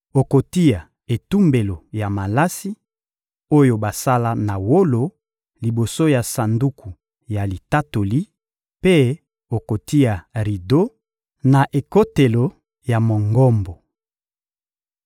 Okotia etumbelo ya malasi, oyo basala na wolo liboso ya Sanduku ya Litatoli mpe okotia rido, na ekotelo ya Mongombo.